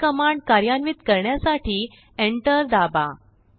हिकमांड कार्यान्वित करण्यासाठी एंटर्स दाबा